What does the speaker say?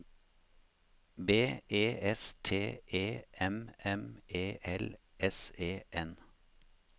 B E S T E M M E L S E N